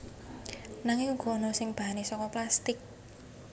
Nanging uga ana sing bahane saka plastik